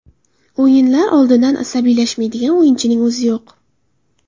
O‘yinlar oldidan asabiylashmaydigan o‘yinchining o‘zi yo‘q.